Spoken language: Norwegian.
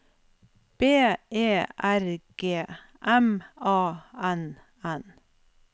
B E R G M A N N